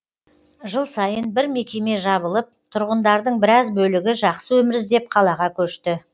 жыл сайын бір мекеме жабылып тұрғындардың біраз бөлігі жақсы өмір іздеп қалаға көшті